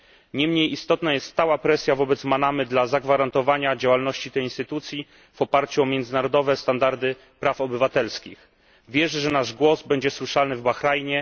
Nie mniej istotna jest stała presja wobec Manamy dla zagwarantowania działalności tej instytucji w oparciu o międzynarodowe standardy praw obywatelskich. Wierzę, że nasz głos będzie słyszalny w Bahrajnie.